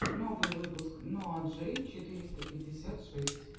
первый выпуск ноа джей четыреста пятьдесят шесть